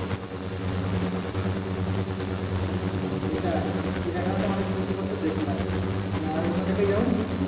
হম হম সেটাই চিড়িয়াখানায় অনেক পশুপাখি দেখলাম আর অন্য জায়গায় যাওনি ঘুরতে?